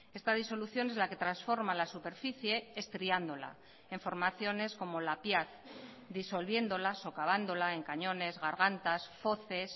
esta disolución es la que transforma la superficie estriándola en formaciones como lapiaz disolviéndola socavándola en cañones gargantas foces